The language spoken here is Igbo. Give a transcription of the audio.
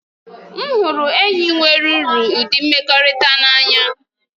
M hụrụ enyi nwere uru ụdị mmekọrịta n'anya.